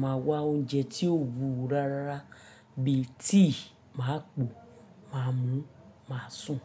màá wá oúnjẹ tí ó wúwo rárárá bí i tíì, máa pò, màá mú, màá sùn.